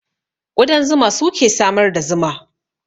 Ƙudan zuma suke samar da zuma